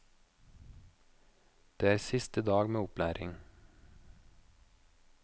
Det er siste dag med opplæring.